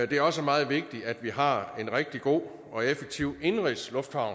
det er også meget vigtigt at vi har en rigtig god og effektiv indenrigsluftfart